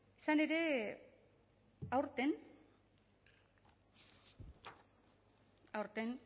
izan ere aurten